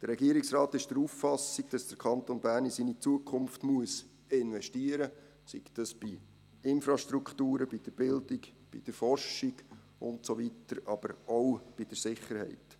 Der Regierungsrat ist der Auffassung, dass der Kanton Bern in seine Zukunft investieren muss, sei das bei Infrastrukturen, bei der Bildung, bei der Forschung und so weiter, aber auch bei der Sicherheit.